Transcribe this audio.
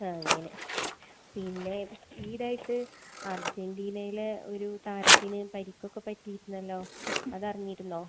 അങ്ങനെ. പിന്നെ ഈയിടെയായിട്ട് അർജന്റീനയിലെ ഒരു താരത്തിന് പരുക്കൊക്കെ പറ്റിയിരുന്നല്ലോ. അതറിഞ്ഞിരുന്നോ?